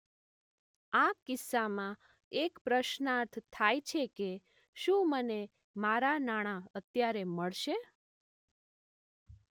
આ કિસ્સામાં એક પ્રશ્નાર્થ થાય છે કે શું મને મારાં નાણાં અત્યારે મળશે